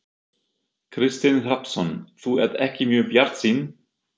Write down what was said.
Kristinn Hrafnsson: Þú ert ekki mjög bjartsýn?